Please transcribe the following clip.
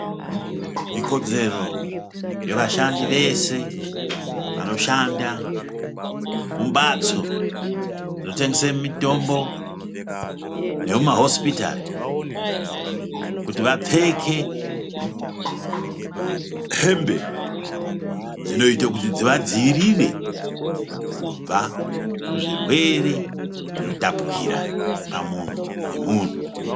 Ikodzero yevashandi vese vanoshanda mumbatso dzinotengese mitombo nemumahosipitari, kuti vapfeke hembe dzinoyita kuti dzivadziyirire kubva kuzvirwere zvinotapukira pamunhu nemunhu.